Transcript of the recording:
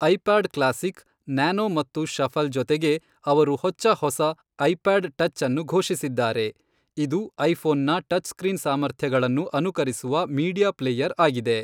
IPod classic, nano ಮತ್ತು shuffle ಜೊತೆಗೆ, ಅವರು ಹೊಚ್ಚ ಹೊಸ ಐಪಾಡ್ ಟಚ್ ಅನ್ನು ಘೋಷಿಸಿದ್ದಾರೆ, ಇದು ಐಫೋನ್ನ ಟಚ್ ಸ್ಕ್ರೀನ್ ಸಾಮರ್ಥ್ಯಗಳನ್ನು ಅನುಕರಿಸುವ ಮೀಡಿಯಾ ಪ್ಲೇಯರ್ ಆಗಿದೆ.